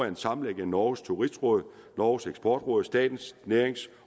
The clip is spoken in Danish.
en sammenlægning af norges turistråd norges eksportråd og statens nærings